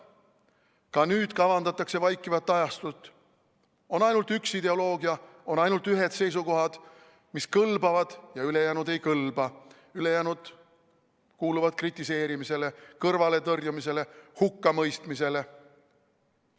Ka nüüd kavandatakse vaikivat ajastut: on ainult üks ideoloogia, on ainult ühed seisukohad, mis kõlbavad, ja ülejäänud ei kõlba, ülejäänud kuuluvad kritiseerimisele, kõrvaletõrjumisele, hukkamõistmisele.